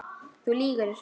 Þú lýgur þessu!